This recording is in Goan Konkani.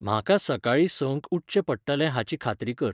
म्हाका सकाळीं सं क उठचें पडटलें हाची खात्री कर.